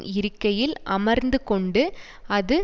இருக்கையில் அமர்ந்து கொண்டு அது